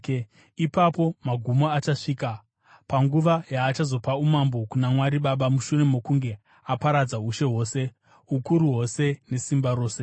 Ipapo magumo achasvika, panguva yaachazopa umambo kuna Mwari Baba mushure mokunge aparadza ushe hwose, ukuru hwose nesimba rose.